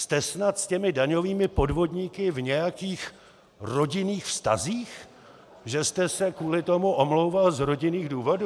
Jste snad s těmi daňovými podvodníky v nějakých rodinných vztazích, že jste se kvůli tomu omlouval z rodinných důvodů?